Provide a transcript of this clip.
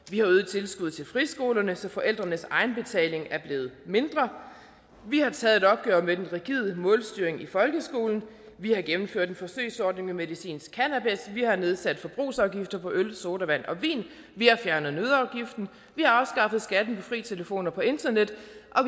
vi har øget tilskuddet til friskolerne så forældrenes egenbetaling er blevet mindre vi har taget et opgør med den rigide målstyring i folkeskolen vi har gennemført en forsøgsordning med medicinsk cannabis vi har nedsat forbrugsafgifter på øl sodavand og vin vi har fjernet nøddeafgiften vi har afskaffet skatten på fri telefon og på internet vi